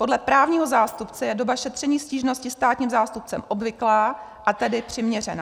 Podle právního zástupce je doba šetření stížnosti státním zástupcem obvyklá, a tedy přiměřená.